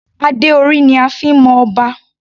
Adé orí ni a fi ń mọ Ọba.